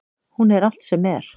Hún er allt sem er.